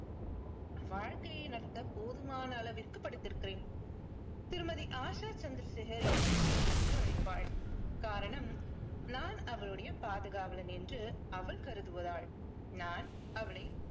வாழ்க்கையை நடத்த போதுமான அளவிற்கு படித்திருக்கிறேன். திருமதி ஆஷா சந்திரசேகர் என்னை மெய் என்று அழைப்பாள். காரணம் நான் அவளுடைய பாதுகாவலன் என்று அவள் கருதுவதால். நான் அவளை